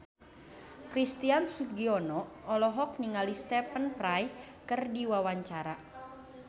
Christian Sugiono olohok ningali Stephen Fry keur diwawancara